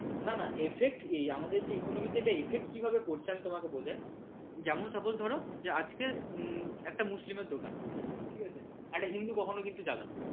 না না effect এই আমাদের যে economically effect কিভাবে পড়ছে তোমাকে বোঝাই যেমন suppose ধরো আজকে একটা মুসলিম এর দোকান ঠিক আছে একটা হিন্দু কখনও কিন্তু যাবে না।